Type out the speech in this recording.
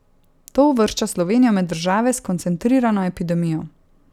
To uvršča Slovenijo med države s koncentrirano epidemijo.